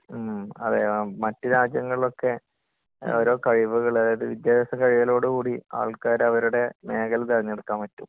മ്..അതെ.മറ്റുരാജ്യങ്ങലിലൊക്കെ ഓരോ കഴിവ്കള്..അതായത് വിദ്യാഭ്യാസം കഴിയലോട് കൂടി ആൾക്കാര് അവരുടെ മേഖലകള് തെരഞ്ഞെടുക്കാൻ പറ്റും.